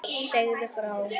Segðu frá.